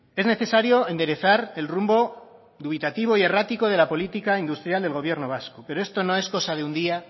es necesario enderezar el rumbo dubitativo y errático de la política industrial del gobierno vasco pero esto no es cosa de un día